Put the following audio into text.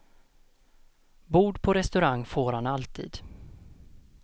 Bord på restaurang får han alltid.